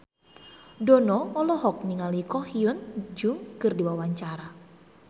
Dono olohok ningali Ko Hyun Jung keur diwawancara